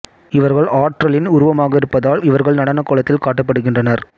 இவர்கள் ஆற்றலின் உருவகமாக இருப்பதால் இவர்கள் நடன கோலத்தில் காட்டப்படுகின்றனர்